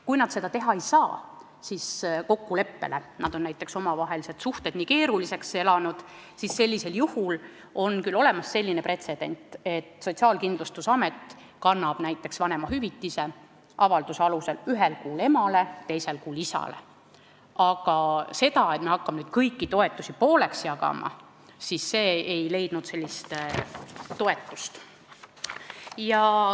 Kui nad seda teha ei saa, nad on näiteks omavahelised suhted nii keeruliseks elanud, siis on küll olemas pretsedent, et Sotsiaalkindlustusamet kannab avalduse alusel vanemahüvitise ühel kuul emale ja teisel kuul isale, aga see, et me hakkame kõiki toetusi pooleks jagama, ei leidnud toetust.